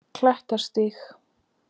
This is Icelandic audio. Klettastíg